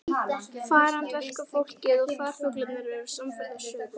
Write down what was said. Farandverkafólk og farfuglar eru samferða suður.